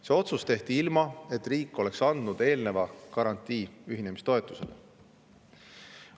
See otsus tehti, ilma et riik oleks andnud eelnevalt ühinemistoetuse saamiseks garantiid.